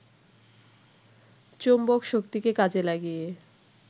চুম্বকশক্তিকে কাজে লাগিয়ে